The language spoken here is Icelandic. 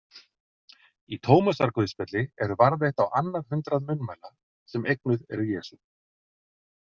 Í Tómasarguðspjalli eru varðveitt á annað hundrað munnmæla sem eignuð eru Jesú.